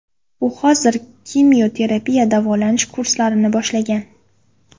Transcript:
U hozirda kimyoterapiya davolanish kurslarini boshlagan.